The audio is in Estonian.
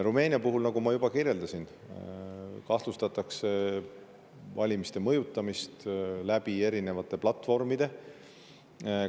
Rumeenia puhul, nagu ma juba kirjeldasin, kahtlustatakse valimiste mõjutamist eri platvormide kaudu.